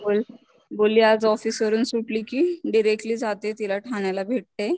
बोलली आज ऑफिस वरून सुटली कि डिरेक्टली जाते तिला ठाण्याला भेटते.